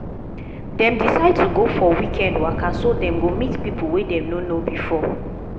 dem decide to go for weekend waka so dem go meet people wey dem no know before